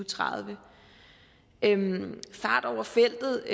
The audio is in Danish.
tredive fart over feltet